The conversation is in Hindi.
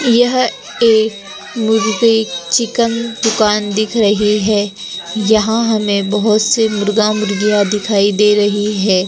यह एक मुरगइ चिकन दुकान दिख रही है यहाँ हमें बहोत से मुर्गा मुर्गिया दिखाई दे रही है।